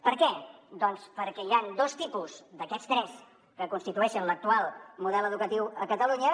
per què doncs perquè hi han dos tipus d’aquests tres que constitueixen l’actual model educatiu a catalunya